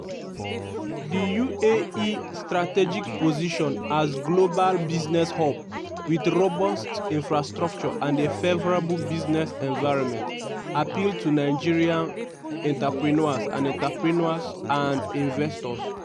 di uae strategic position as global business hub wit robust infrastructure and a favourable business environment appeal to nigerian entrepreneurs and entrepreneurs and investors.